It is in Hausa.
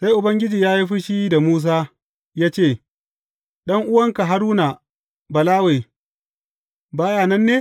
Sai Ubangiji ya yi fushi da Musa ya ce, Ɗan’uwanka Haruna Balawe, ba ya nan ne?